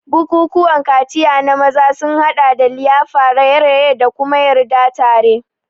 Bukukuwan kaciya na maza sun haɗa da liyafa, raye-raye, da kuma yarda tare.